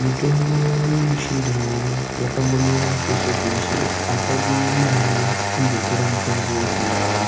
Mitombo yechindau yakangomera peshe peshe apadiwi mare kundotora mutombo wechindau